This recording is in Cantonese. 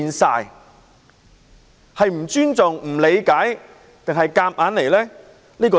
它是不尊重、不理解，還是硬來呢？